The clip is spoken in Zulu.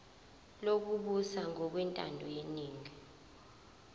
lokubusa ngokwentando yeningi